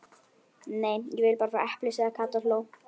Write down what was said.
Nei, ég vil bara fá epli sagði Kata og hló.